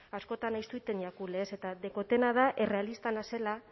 askotan ez jaku lez eta dekotena da errealista nazela